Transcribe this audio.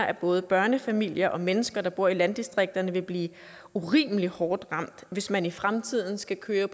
at både børnefamilier og mennesker der bor i landdistrikter vil blive urimelig hårdt ramt hvis man i fremtiden skal køre